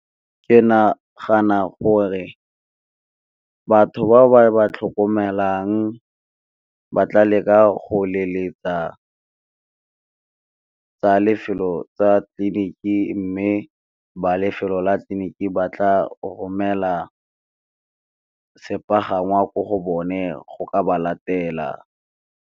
Ke nagana gore batho ba ba tlhokomelang ba tla leka go leletsa lefelo tsa tleliniki, mme ba lefelo la tleliniki ba tla romela sepagangwa ko go bone go ka ba latela.